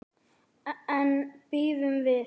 En bíðum við.